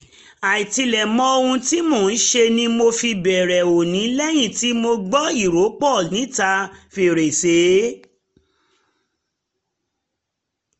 àìtilẹ̀ mọ ohun tí um mò um ń ṣe ni mo fi bẹ̀rẹ̀ òní lẹ́yìn tí mo gbọ́ ìrọ́pọ̀ níta fèrèsé